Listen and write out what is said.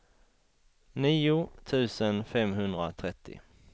nio tusen femhundratrettio